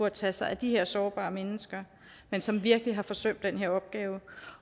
at tage sig af de her sårbare mennesker men som virkelig har forsømt den opgave